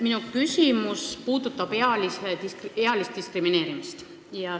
Minu küsimus puudutab ealist diskrimineerimist.